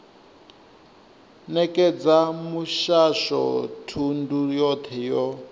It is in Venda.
nekedza muhasho thundu yothe yo